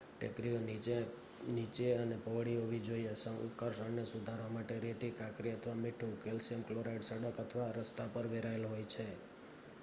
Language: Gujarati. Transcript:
ટેકરીઓ નીચી અને પહોળી હોવી જોઈએ. સંકર્ષણને સુધારવા માટે રેતી કાંકરી અથવા મીઠું કેલ્શિયમ ક્લોરાઇડ સડક અથવા રસ્તા પર વેરાયેલ હોય છે